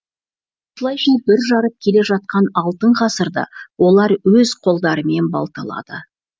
осылайша бүр жарып келе жатқан алтын ғасырды олар өз қолдарымен балталады